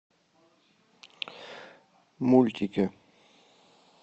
мультики